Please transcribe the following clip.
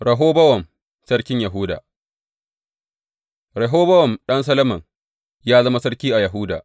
Rehobowam sarkin Yahuda Rehobowam ɗan Solomon ya zama sarki a Yahuda.